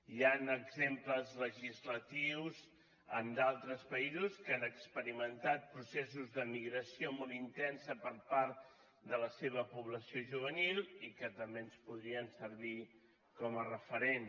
hi han exemples legislatius en d’altres països que han experimentat processos d’emigració molt intensa per part de la seva població juvenil i que també ens podrien servir com a referent